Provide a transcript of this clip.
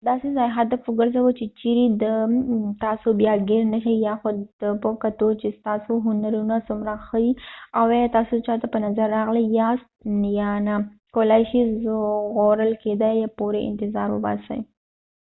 داسې ځای هدف وګرځوه چېرې چې تاسو بیا ګېر نه شئ یا خو دې ته په کتو چې ستاسو هنرونه څومره ښه دي او ایا تاسو چا ته په نظر راغلي یاست یا نه کولای شئ ژغورل کېدا پورې انتظار وباسئ